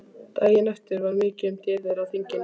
Daginn eftir var mikið um dýrðir á þinginu.